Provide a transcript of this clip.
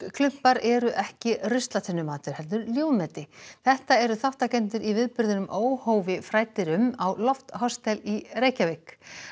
þorskklumpar eru ekki heldur ljúfmeti þetta eru þátttakendur í viðburðinum óhófi fræddir um á Lofthostel í Reykjavík